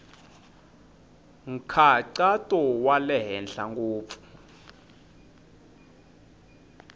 nkhaqato wa le henhla ngopfu